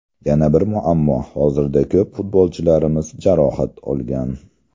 Yana bir muammo hozirda ko‘p futbolchilarimiz jarohat olgan.